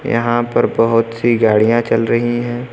यहां पर बहोत सी गाड़ियां चल रही है।